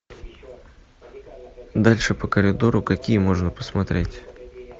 дальше по коридору какие можно посмотреть